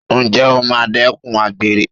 Ǹjẹ́ o máa dẹ́kun àgbèrè?